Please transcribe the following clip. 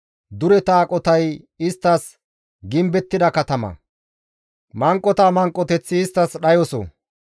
Dureta aqotay isttas gimbettida katama; manqota manqoteththi isttas dhayoso.